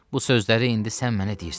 Bu sözləri indi sən mənə deyirsən.